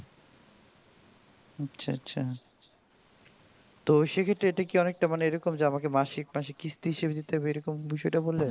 আচ্ছা আচ্ছা তো সেই ক্ষেত্রে ইটা কি অনেকটা এরকম যে আমাকে মাসিক মাসিক কিস্তি হিসেবে দিতে হবে এরকম বিষয় তা বললে?